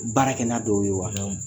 Baara kɛ n'a dɔw ye wa ? Naamu